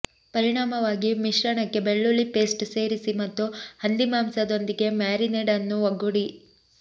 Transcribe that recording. ಪರಿಣಾಮವಾಗಿ ಮಿಶ್ರಣಕ್ಕೆ ಬೆಳ್ಳುಳ್ಳಿ ಪೇಸ್ಟ್ ಸೇರಿಸಿ ಮತ್ತು ಹಂದಿಮಾಂಸದೊಂದಿಗೆ ಮ್ಯಾರಿನೇಡ್ ಅನ್ನು ಒಗ್ಗೂಡಿ